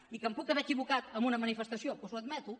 i que em puc haver equivocat en una manifestació doncs ho admeto